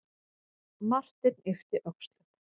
Marteinn yppti öxlum.